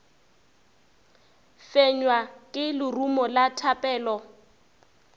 fenywa ke lerumo la thapelo